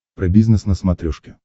про бизнес на смотрешке